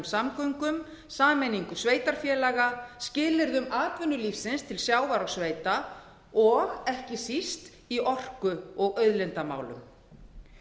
samgöngum sameiningu sveitarfélaga skilyrðum atvinnulífsins til sjávar og sveita og ekki síst í orku og auðlindamálum